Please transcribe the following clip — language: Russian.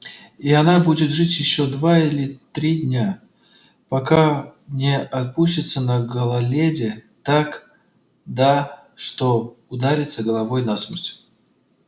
и она будет жить ещё день или два пока не оступится на гололёде да так что ударится головой насмерть